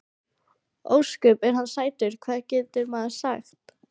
Ósköp er hann sætur, hvað getur maður sagt.